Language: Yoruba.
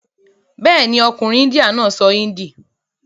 Bẹ́ẹ̀ni, ọkùnrin índíà náà sọ índì.